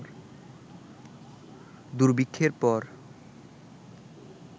দুর্ভিক্ষের পর